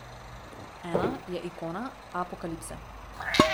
Ena je ikona apokalipse.